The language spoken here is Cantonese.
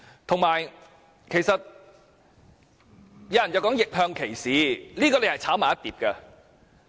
此外，有些人談到逆向歧視，這是混為一談。